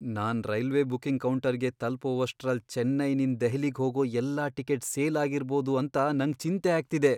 ನಾನ್ railway booking ಕೌಂಟರ್ಗೆ ತಲ್ಪೋವಷ್ಟ್ ರಲ್ ಚೆನ್ನೈನಿಂದ್ ದೆಹಲಿಗೆ ಹೋಗೋ ಎಲ್ಲಾ ಟಿಕೆಟ್ ಸೇಲ್ ಆಗಿರ್ಬೋದು ಅಂತ ನಂಗ್ ಚಿಂತೆ ಆಗ್ತಿದೆ.